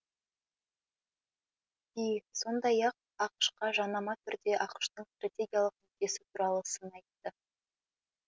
си сондай ақ ақш қа жанама түрде ақш тың стратегиялық нүктесі туралы сын айтты